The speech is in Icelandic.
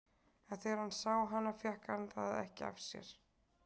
En þegar hann sá hana fékk hann það ekki af sér.